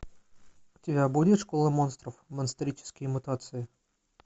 у тебя будет школа монстров монстрические мутации